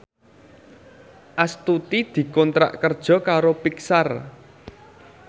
Astuti dikontrak kerja karo Pixar